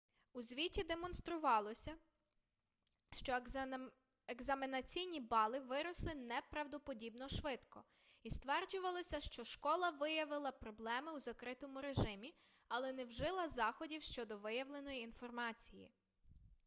у звіті демонструвалося що екзаменаційні бали виросли неправдоподібно швидко і стверджувалося що школа виявила проблеми у закритому режимі але не вжила заходів щодо виявленої інформації